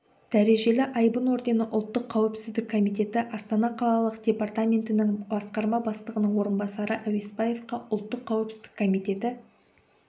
дәрежелі айбын ордені ұлттық қауіпсіздік комитеті астана қалалық департаментінің басқарма бастығының орынбасары әуесбаевқа ұлттық қауіпсіздік комитеті